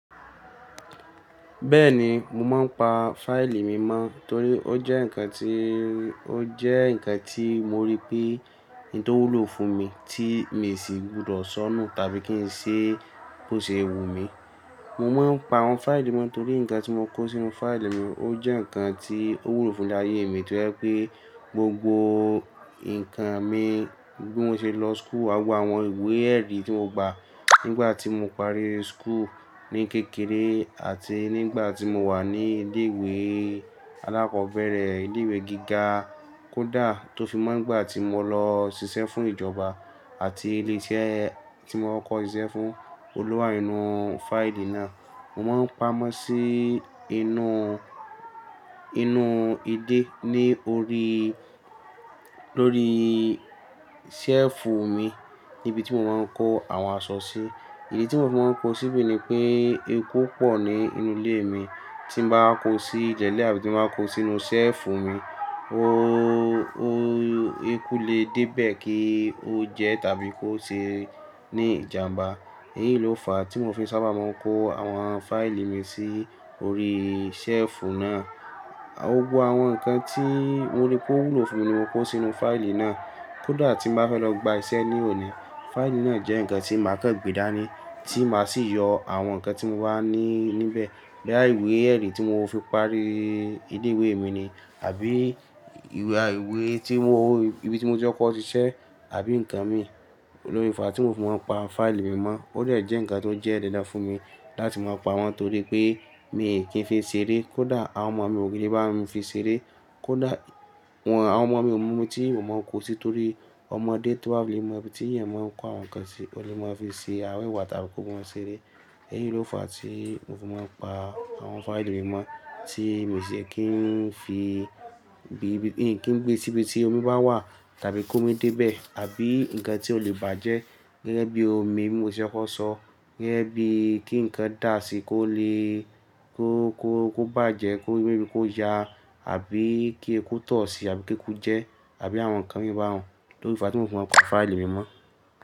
Bẹ́ẹ̀ni, mo máa ń pa fáìlì mi mọ́ torí ó jẹ́ ǹkan tí, ó jẹ́ ǹkan tí mo rí pé ohun tó wúlò fún mi tí mi sì gbudọ̀ ṣọnù tàbí kí n ṣe bó ṣe wù mí. Mo máa ń pa àwọn fáìlì mi mọ́ torí ǹkan tí mo kó sínú fáìlì mi ó jẹ́ ǹkan tí ó wúlò fún'lé aye mi tó ẹ́ pé gbogbo ǹkan mi bí mo ṣe lọ school, gbogbo àwọn ìwé ẹ̀rí tí mo gba nígbà tí mo parí school ní kékeré àti nígbà tí mo wà ní ilé ìwé alákọ̀ọ́bẹ̀rẹ̀, ilé ìwé gíga, kódà tó fi mọ́ n'gbà tí mo lọ ṣiṣẹ́ fún ìjọba àti ilé iṣẹ́ tí mo ti kọ́ko siṣẹ́ fún, Oún lo wa nínú fáìlì náà. Mo máa ń pamọ́ sí inú, inú ilé ní orí, lórí ṣẹ́ẹ̀fù mi níbi tí mo máa ń kó àwọn aṣọ sí. Ìdí tí mo fií máa ń kó síbì ni pé eku pọ̀ ní inú ilé mi. Tí mo bá kó sílẹ̀ àbí tí mo bá kó sínú ṣẹ́ẹ̀fù mi, o, o eku lè dé bẹ́ẹ̀ kí ó jẹ tàbí kó ṣe ní ìjàmbá. Èyí ló fà á tí mo fi sábà máa ń kó àwọn fáìlì mi sí orí ṣẹ́ẹ̀fù náà. Gbogbo àwọn ǹkan tí mo rí pé ó wúlò fún mi ni mo kó sínú fáìlì náà. Kódà tí mo bá fẹ́ lọ gba iṣẹ́ ní òní, fáìlì náà jẹ́ ǹkan tí màá kan gbè dání, tí màá sì yọ àwọn ǹkan tí mo bà ní níbẹ̀. Bóyá ìwé ẹ̀rí tí mo fi parí ilé ìwé mi ni àbí ìwé à ìwé tí mo, ibi tí mo ti kọ́ iṣẹ́ àbí ǹkan mi. Ló fi fàá tí mo fi máa ń pa fáìlì mi mọ́, ó dẹ́ jẹ́ ǹkan tó jẹ́ dandan fún mi láti máa pa wọ́n torí pé mi kì í fi ṣeré. Kódà àwọn ọmọ mi ò le bámi fi ṣeré. Kódà wọ́n, àwọn ọmọ mi ò mọ bi tí mo máa ń kó sí torí ọmọdé to ba lè fi mọ̀ bí, tí eeyan máa ń kó àwọn ǹkan sí, o lè máa fi ṣe àwẹ̀wà tàbí kó mọn ṣeré. Èyí ló fà á tí mo fi máa ń pa àwọn fáìlì mi mọ́ tí mi sì kii yẹ kí n fi bí, kí n gbé síbi tí omi bá wà tàbí kómi débẹ́ẹ̀ àbí ǹkan tí ó lè bàjẹ́ gẹ́gẹ́ bí omi bí mo se kọ́ko sọ. Gẹ́gẹ́ bí kí ǹkan dà si kó lè kó, kó, kó bàjẹ́, kó, kó ya àbí kí eku tọ̀ ọ́ sí àbí kí eku jẹ́ ẹ́ àbí àwọn ǹkan mìíràn baun tófi fà tí mo fi máa ń pa fáìlì mi mọ́.